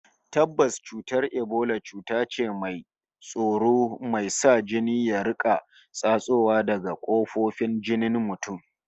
Tabbas, cutar Ebola cuta ce mai ban tsoro, mai sa jini ya riƙa tsatsowa daga kafofin jikin mutum